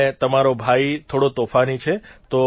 અને તમારો ભાઇ થોડો તોફાની છે